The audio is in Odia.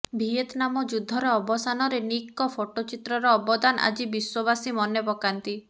ଭିଏତ୍ନାମ ଯୁଦ୍ଧର ଅବସାନରେ ନିକ୍ଙ୍କ ଫଟୋଚିତ୍ରର ଅବଦାନ ଆଜି ବିଶ୍ୱବାସୀ ମନେପକାନ୍ତି